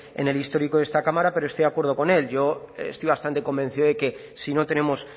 en el histórico de esta cámara pero estoy de acuerdo con él yo estoy bastante convencido de que si no tenemos